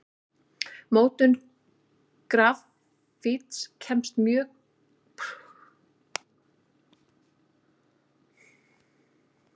Mótun grafíts krefst mjög góðrar verkstæðisaðstöðu.